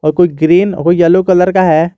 कोई ग्रीन कोई yellow colour का है।